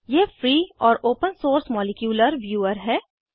यह फ्री और open source molecular viewer है